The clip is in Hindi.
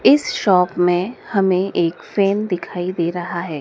इस शॉप में हमें एक फ्रेम दिखाई दे रहा है।